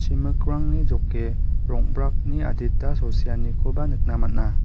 chimikrangno joke rong·brakni adita sosianikoba nikna man·a.